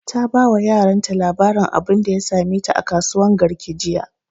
ta ba wa yaran ta labarin abunda ya same ta a kasuwan garki jiya